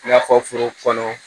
I n'a fɔ foro kɔnɔ